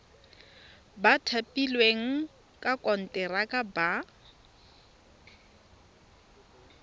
ba thapilweng ka konteraka ba